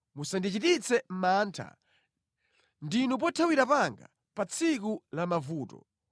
Musandichititse mantha; ndinu pothawira panga pa tsiku la mavuto.